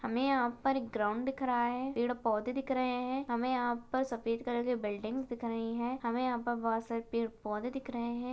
हमे यहाँ पर एक ग्राउंड दिख रहा है पेड़-पौधे दिख रहे है हमे यहाँ पर सफ़ेद कलर की बिल्डिंग्स दिख रही है। हमे यहाँ पर बहुत सारे पेड़-पौधे दिख रहे है।